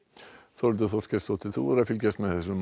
Þórhildur Þorkelsdóttir þú hefur fylgst með þessum